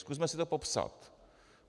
Zkusme si to popsat.